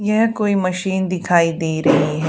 यह कोई मशीन दिखाई दे रही है।